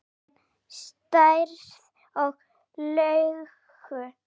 Jörðin, stærð og lögun